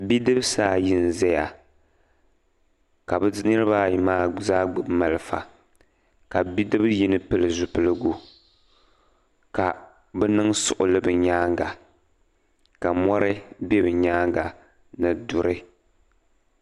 Bidibisi ayi n-zaya ka bɛ niriba ayi maa zaa gbubi malifa ka bidib' yino pili zipiligu ka bɛ niŋ suɣuli bɛ nyaaŋa ka mɔri be bɛ nyaaŋa ni duri.